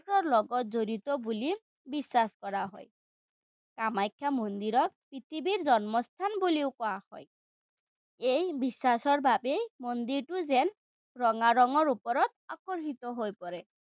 লগত জড়িত বুলি বিশ্বাস কৰা হয়। কামাখ্যা মন্দিৰত পৃথিৱীৰ জন্মস্থান বুলিও কোৱা হয়। এই বিশ্বাসৰ বাবেই মন্দিৰটো যেন ৰঙা ৰঙৰ ওপৰত আকৰ্ষিত হৈ পৰে।